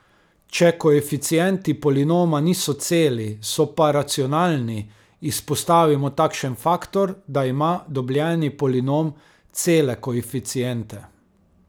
Če koeficienti polinoma niso celi, so pa racionalni, izpostavimo takšen faktor, da ima dobljeni polinom cele koeficiente.